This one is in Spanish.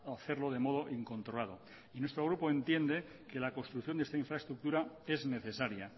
hacerlo de modo incontrolado nuestro grupo entiende que la construcción de esta infraestructura es necesaria